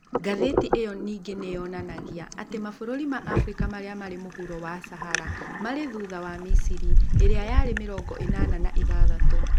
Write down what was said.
Ngathĩti ĩyo ningĩ nĩ yonanagia atĩ mabũrũri ma Afrika marĩa marĩ mũhuro wa Sahara, marĩ thutha wa Misiri, ĩrĩa yarĩ ya mĩrongo ĩnana na ĩthathatũ.